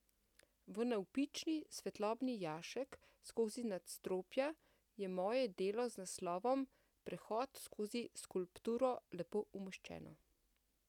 V navpični svetlobni jašek skozi nadstropja je moje delo z naslovom Prehod skozi skulpturo lepo umeščeno.